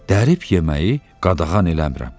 Dərib yeməyi qadağan eləmirəm.